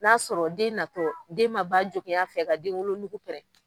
N'a sɔrɔ den natɔ den ma ba jogin a fɛ ka den wolonnugu pɛrɛn